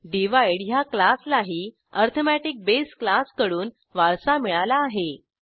divide ह्या क्लासलाही arithmetic base क्लासकडून वारसा मिळाला आहे